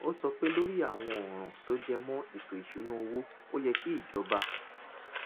ó sọ pé lórí àwọn ọ̀ràn tó jẹ mọ́ ètò ìṣúnná owó ó yẹ kí ìjọba